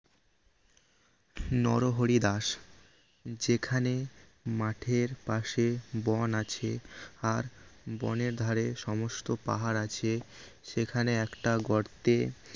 নরহরি দাস যেখানে মাঠের পাশে বন আছে আর বনের ধারে সমস্ত পাহাড় আছে সেখানে একটা গর্তে